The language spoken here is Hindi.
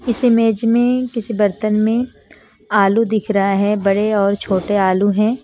इस इमेज में किसी बर्तन में आलू दिख रहा है बड़े और छोटे आलू हैं।